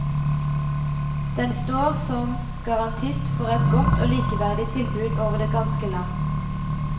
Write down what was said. Den står som garantist for et godt og likeverdig tilbud over det ganske land.